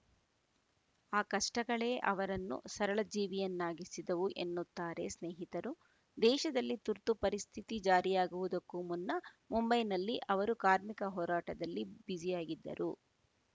ಆ ಕಷ್ಟಗಳೇ ಅವರನ್ನು ಸರಳಜೀವಿಯನ್ನಾಗಿಸಿದವು ಎನ್ನುತ್ತಾರೆ ಸ್ನೇಹಿತರು ದೇಶದಲ್ಲಿ ತುರ್ತು ಪರಿಸ್ಥಿತಿ ಜಾರಿಯಾಗುವುದಕ್ಕೂ ಮುನ್ನ ಮುಂಬೈನಲ್ಲಿ ಅವರು ಕಾರ್ಮಿಕ ಹೋರಾಟದಲ್ಲಿ ಬ್ಯುಸಿಯಾಗಿದ್ದರು